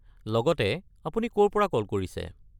লগতে, আপুনি ক'ৰ পৰা কল কৰিছে?